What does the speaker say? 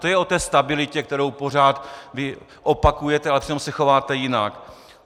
To je o té stabilitě, kterou pořád vy opakujete, a přitom se chováte jinak.